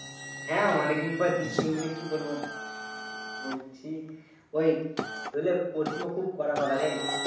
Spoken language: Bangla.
হ্যাঁ অনেক দিন পর দিচ্ছি ।মানি কি বলব? বলছি ঐ গুলা প্রশ্ন খুব কড়া কড়া রে।